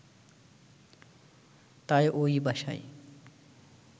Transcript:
তাই ওই বাসায়